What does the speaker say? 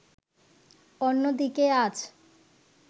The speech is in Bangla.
অন্যদিকে আজ